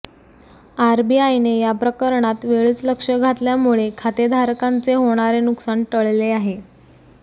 आरबीआयने या प्रकरणात वेळीच लक्ष घातल्यामुळे खातेधारकांचे होणारे नुकसान टळले आहे